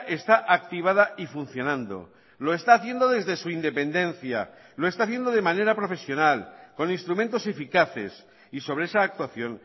está activada y funcionando lo está haciendo desde su independencia lo está haciendo de manera profesional con instrumentos eficaces y sobre esa actuación